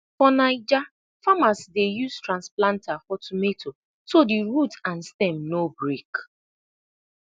for 9ja farmers dey use transplanter for tomato so the root and stem no break